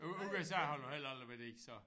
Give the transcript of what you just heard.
U USA har du heller aldrig været i så?